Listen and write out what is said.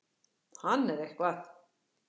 Hann er eitthvað.